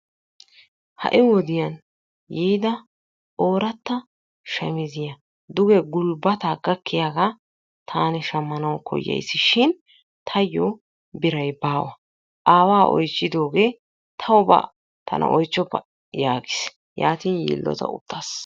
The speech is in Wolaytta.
Ha'i wodiyaan yiida oorata shamiziyaa duge gulbbata gakkiyaaga taani shammanaw koyayssishin taayyo biray baawa. Aawa oychcidooge taw ba tana oychchoppa yaagiis. Yaatin yiilota uttaas.